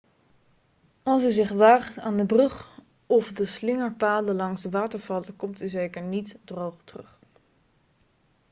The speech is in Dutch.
als u zich waagt aan de brug of de slingerpaden langs de watervallen komt u zeker niet droog terug